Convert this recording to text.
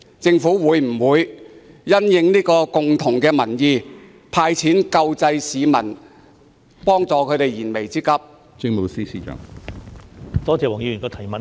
政府會否因應這共識"派錢"救濟市民，幫助他們解決燃眉之急？